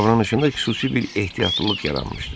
Davranışında xüsusi bir ehtiyatlılıq yaranmışdı.